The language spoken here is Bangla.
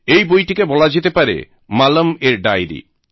এই বইটিকে বলা যেতে পারে মালমএর ডায়রি